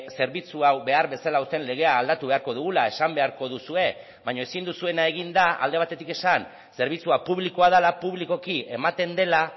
zerbitzu hau behar bezala uzten legea aldatu beharko dugula esan beharko duzue baina ezin duzuena egin da alde batetik esan zerbitzua publikoa dela publikoki ematen dela